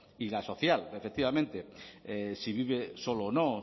y la social efectivamente si vive solo o no